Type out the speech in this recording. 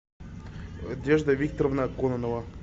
надежда викторовна кононова